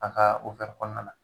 A kaa kɔɔna na